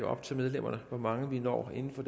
op til medlemmerne hvor mange vi når inden for